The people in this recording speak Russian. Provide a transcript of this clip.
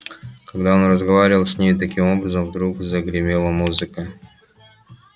когда он разговаривал с нею таким образом вдруг загремела музыка